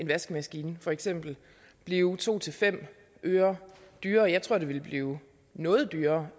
vaskemaskine for eksempel blive to fem øre dyrere jeg tror at den ville blive noget dyrere